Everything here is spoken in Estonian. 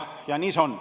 Nii see on.